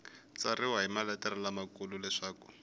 tsariwa hi maletere lamakulu leswaku